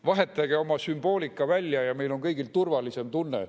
Vahetage oma sümboolika välja ja meil on kõigil turvalisem tunne.